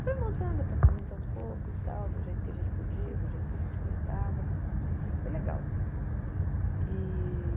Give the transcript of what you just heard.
Foi montando apartamento aos poucos, tal do jeito que a gente podia, do jeito que a gente gostava, foi legal. E